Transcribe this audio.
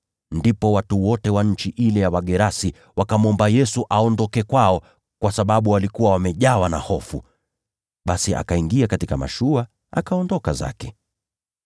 Ndipo watu wote wa nchi ile ya Wagerasi wakamwomba Yesu aondoke kwao, kwa sababu walikuwa wamejawa na hofu. Basi akaingia katika mashua, akaondoka zake.